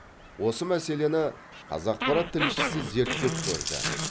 осы мәселені қазақпарат тілшісі зерттеп көрді